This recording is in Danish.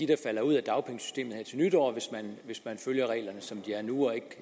der falder ud af dagpengesystemet her til nytår hvis man følger reglerne som de er nu og ikke